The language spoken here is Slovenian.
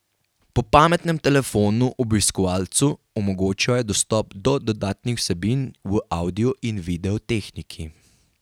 Po pametnem telefonu obiskovalcu omogočajo dostop do dodatnih vsebin v avdio in video tehniki.